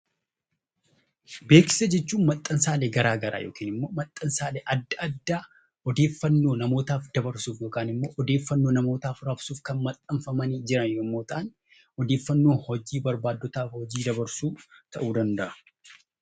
Beeksisa jechuun maxxansaalee garaa garaa yookiin maxxansaalee adda addaa odeeffannoo namootaaf dabarsuuf yookiin immoo odeeffannoo namootaaf rabsuuf kan maxxanfamanii jiran yommuu ta'an, odeeffannoo hojii barbaaddotaaf beeksisa hojii dabarsuu ta'uu danda'a.